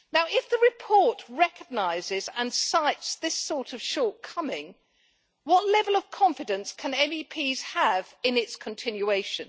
If the report recognises and cites this sort of shortcomings, what level of confidence can MEPs have in its continuation?